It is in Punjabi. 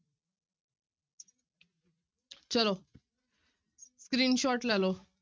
ਚਲੋ screenshot ਲੈ ਲਓ।